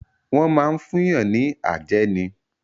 Wọ́n máa ń fún yàn ní àjẹ́ ni.